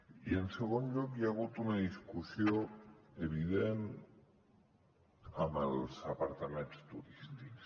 i en segon lloc hi ha hagut una discussió evident amb els apartaments turístics